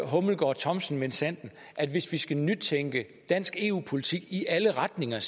hummelgaard thomsen minsandten at hvis vi skal nytænke dansk eu politik i alle retninger